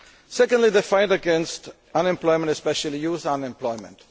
Secondly, the fight against unemployment, especially youth unemployment.